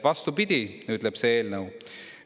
Vastupidi ütleb see eelnõu.